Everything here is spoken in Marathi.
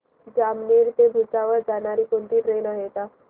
जामनेर ते भुसावळ जाणारी कोणती ट्रेन आहे का